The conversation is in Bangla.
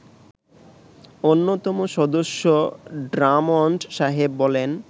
অন্যতম সদস্য ড্রামণ্ড সাহেব বলেন